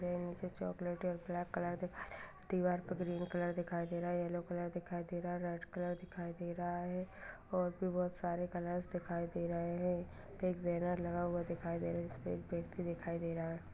Bench chocolate और black colour दिखाई दे रहा दीवार पर ग्रीन कलर दिखाइ दे रहा है येलो कलर दिखाई दे रहा है रेड कलर दिखाई दे रहा है और भी बहुत सारे कलर्स दिखाई दे रहे हैं बिग बैनर लगा हुआ दिखाई दे रहे है जिस पे पर एक व्यक्ति दिखाई दे रहा है।